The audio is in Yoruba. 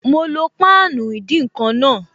Mo lo páànù ìdín-nǹkan náà